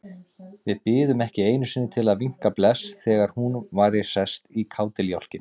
Við biðum ekki einu sinni til að vinka bless þegar hún væri sest í kádiljákinn.